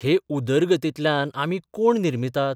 हे 'उदरगतीं'तल्यान आमी कोण निर्मितात?